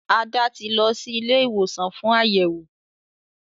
Ada tí lọ sì Ilé ìwòsàn fún Àyẹwò.